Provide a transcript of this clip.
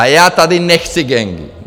A já tady nechci gangy.